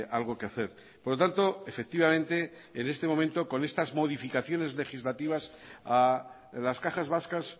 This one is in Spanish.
algo que hacer por lo tanto efectivamente en este momento con estas modificaciones legislativas a las cajas vascas